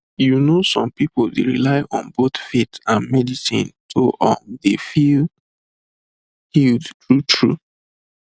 you know some pipu dey rely on both faith and medicine to um dey feel healed true true